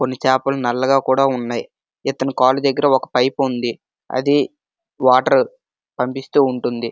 కొన్ని చేపలు నల్లగా కూడా ఉన్నాయి. ఇతను కాలు దగ్గర ఒక పైపు ఉంది. అది వాటర్ పంపిస్తూ ఉంటుంది.